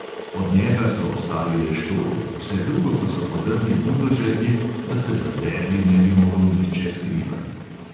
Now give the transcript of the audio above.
Od njega so ostali le štori, vse drugo pa so podrli buldožerji, da se za debli ne bi mogel nihče skrivati.